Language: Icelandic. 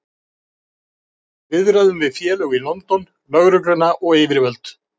Við eigum í viðræðum við félög í London, lögregluna og yfirvöld.